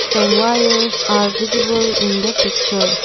some wires are visible in the picture.